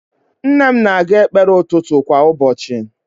Nne m na-aga ekpere ụtụtụ kwa ụbọchị